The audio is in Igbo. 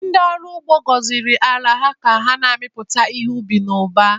Ndị ọrụ ugbo gọziri ala ha ka ha mịpụta ihe ubi n'ụba.